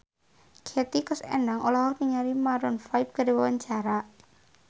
Hetty Koes Endang olohok ningali Maroon 5 keur diwawancara